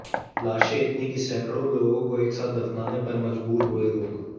लाशें इतनी कि सैकड़ों लोगों को एक साथ दफनाने पर मजबूर हुए लोग